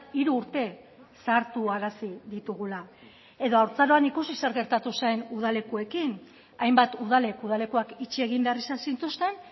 hiru urte zahartuarazi ditugula edo haurtzaroan ikusi zer gertatu zen udalekuekin hainbat udalek udalekuak itxi egin behar izan zituzten